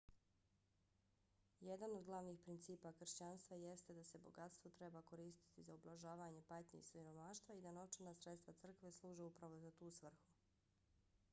jedan od glavnih principa kršćanstva jeste da se bogatstvo treba koristiti za ublažavanje patnje i siromaštva i da novčana sredstva crkve služe upravo za tu svrhu